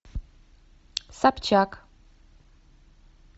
собчак